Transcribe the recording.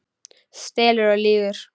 Stelur og lýgur!